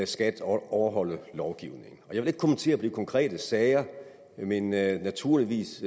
skat overholde lovgivningen jeg vil ikke kommentere konkrete sager men naturligvis